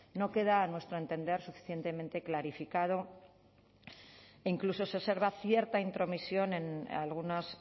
no queda a nuestro entender suficientemente clarificado e incluso se observa cierta intromisión en algunos